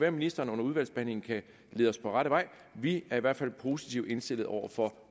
at ministeren under udvalgsbehandlingen kan lede os på rette vej vi er i hvert fald positivt indstillet over for